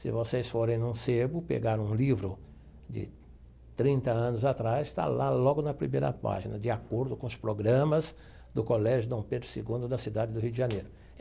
Se vocês forem no, pegar um livro de trinta anos atrás, está lá logo na primeira página, de acordo com os programas do Colégio Dom Pedro segundo da cidade do Rio de Janeiro.